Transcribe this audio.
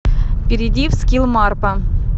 перейди в скилл марпа